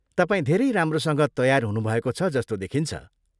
तपाईँ धेरै राम्रोसँग तयार हुनुभएको छ जस्तो देखिन्छ।